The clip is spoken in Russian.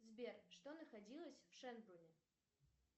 сбер что находилось в шендлоне